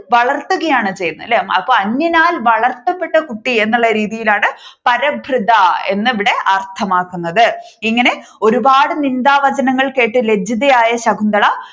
വളർത്തുകായാണ് ചെയ്യുന്നത് അല്ലെ അപ്പൊ അന്യനാൽ വളർത്തപ്പെട്ട കുട്ടി എന്നുള്ള രീതിയിലാണ് പരഭൃത എന്ന് ഇവിടെ അർത്ഥമാക്കുന്നത് ഇങ്ങനെ ഒരുപാട് നിന്ദാവചനങ്ങൾ കേട്ട് ലജ്ജിച്ചതായായ ശകുന്തള